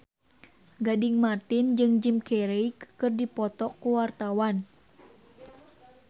Gading Marten jeung Jim Carey keur dipoto ku wartawan